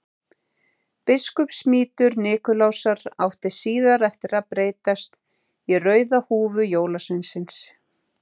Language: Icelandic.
Biskupsmítur Nikulásar átti síðar eftir að breytast í rauða húfu jólasveinsins.